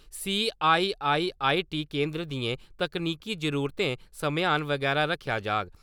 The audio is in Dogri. सी.आई.आई.आई. टी केन्द्र दियें तकनीकी जरुरतें समेयान बगैरा रक्खेआ जाह्ग।